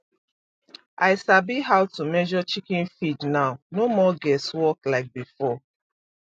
i sabi how to measure chicken feed now no more guess work like before